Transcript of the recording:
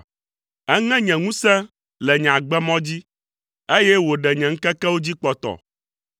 Eŋe nye ŋusẽ le nye agbemɔ dzi, eye wòɖe nye ŋkekewo dzi kpɔtɔ,